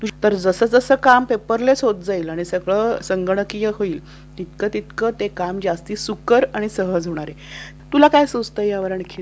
तर जसजसं काम पेपरलेस होत जाईल आणि सगळं संगणकीकरण तितक ते काम सुकर आणि सहज होणार आहे. तुला काय सुचते यावर आणखी?